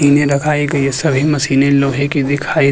ए सभी मशीने लोहे की दिखाई --